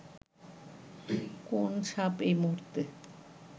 কোন সাপ এই মুহূর্তে